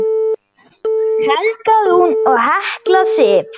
Helga Rún og Hekla Sif.